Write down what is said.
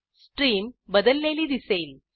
stream बदललेली दिसेल